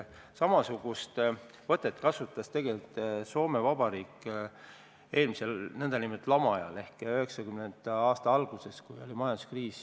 Samasugust võtet kasutas tegelikult ka Soome Vabariik eelmise nn lama ajal ehk 1990. aastate alguses, kui oli majanduskriis.